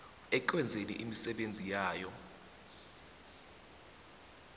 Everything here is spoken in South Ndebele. ekwenzeni imisebenzi yayo